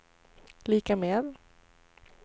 lika med